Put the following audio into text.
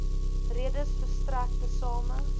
redes verstrek tesame